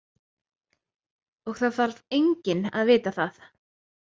Og það þarf enginn að vita það!